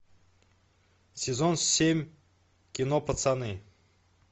сезон семь кино пацаны